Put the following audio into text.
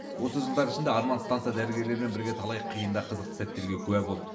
осы жылдар ішінде арман станса дәрігерлерімен бірге талай қиын да қызықты сәттерге куә болды